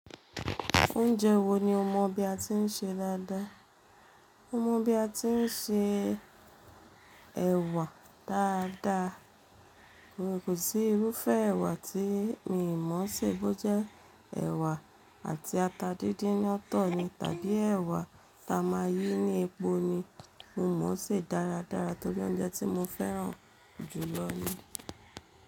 Oúnjẹ wo ni o mọ̀ bí a ti ń se dáadáa? Mo mọ̀ bí a ti ń se ẹ̀wà dáadáa. Kò sí irúfẹ́ ẹ̀wà tí mi n mọ̀ ṣe bó jẹ́ ẹ̀wà àti ata díndín ńi otọ̀ ni, tàbí ẹ̀wà ta máa yí ní epo ni mo mọ̀ ṣe dáradára torí oúnjẹ tí mo fẹ́ràn jùlọ ni.